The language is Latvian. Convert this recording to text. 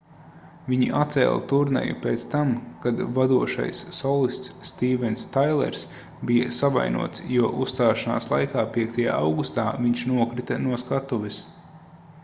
viņi atcēla turneju pēc tam kad vadošais solists stīvens tailers bija savainots jo uzstāšanās laikā 5. augustā viņš nokrita no skatuves